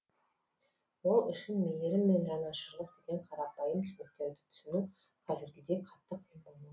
ол үшін мейірім мен жанашырлық деген қарапайым түсініктерді түсіну қазіргідей қатты қиын болмау